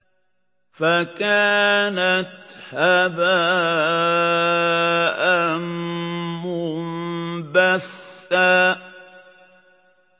فَكَانَتْ هَبَاءً مُّنبَثًّا